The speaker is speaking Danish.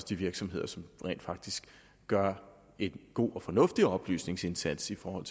de virksomheder som rent faktisk gør en god og fornuftig oplysningsindsats i forhold